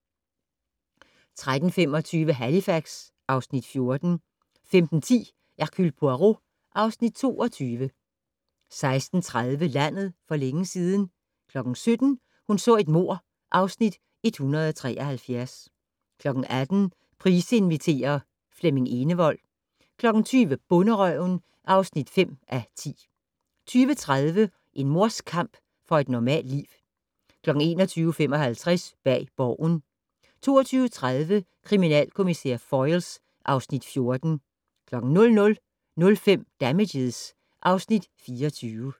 13:25: Halifax (Afs. 14) 15:10: Hercule Poirot (Afs. 22) 16:30: Landet for længe siden 17:00: Hun så et mord (Afs. 173) 18:00: Price inviterer - Flemming Enevold 20:00: Bonderøven (5:10) 20:30: En mors kamp for et normalt liv 21:55: Bag Borgen 22:30: Kriminalkommissær Foyle (Afs. 14) 00:05: Damages (Afs. 24)